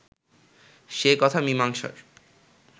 সে কথা মীমাংসার